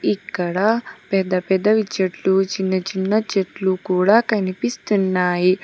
ఇక్కడ పెద్ద పెద్దవి చెట్లు చిన్న చిన్న చెట్లు కూడా కనిపిస్తున్నాయి.